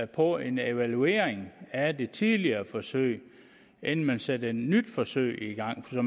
på en evaluering af det tidligere forsøg inden man satte et nyt forsøg i gang så